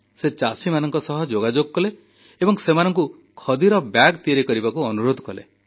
ସେ ଚାଷୀମାନଙ୍କ ସହ ଯୋଗାଯୋଗ କଲେ ଏବଂ ସେମାନଙ୍କୁ ଖଦିର ବ୍ୟାଗ୍ ତିଆରି କରିବାକୁ ଅନୁରୋଧ କଲେ